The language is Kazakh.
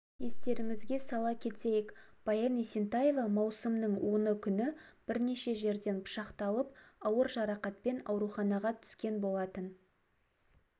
естеріңізге сала кетейік баян есентаева маусымның оны күні бірнеше жерден пышақталып ауыр жарақатпен ауруханаға түскен болатын